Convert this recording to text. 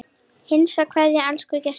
HINSTA KVEÐJA Elsku Gestur.